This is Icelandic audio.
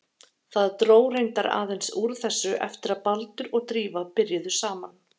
Það dró reyndar aðeins úr þessu eftir að Baldur og Drífa byrjuðu saman.